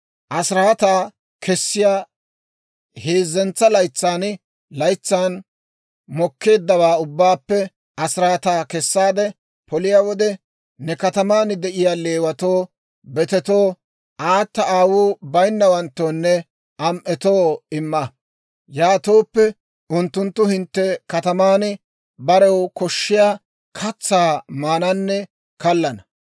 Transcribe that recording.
«Asiraataa kessiyaa heezzantsa laytsan laytsan mokkeeddawaa ubbaappe asiraataa kessaade poliyaa wode, ne kataman de'iyaa Leewatoo, betetoo, aata aawuu bayinnawanttoonne am"etoo imma; yaatooppe unttunttu hintte kataman barew koshshiyaa katsaa maananne kallana.